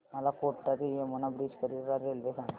मला कोटा ते यमुना ब्रिज करीता रेल्वे सांगा